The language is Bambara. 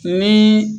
Ni